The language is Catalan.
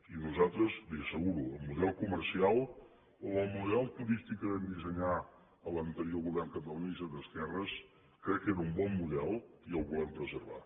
i nosaltres li ho asseguro el model comercial o el model turístic que vam dissenyar en l’anterior govern catalanista d’esquerres crec que era un bon model i el volem preservar